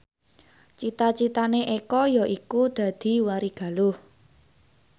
cita citane Eko yaiku dadi warigaluh